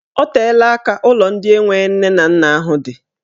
Ọ teela aka ụlọ ndị enwe nne na nna ahụ dị.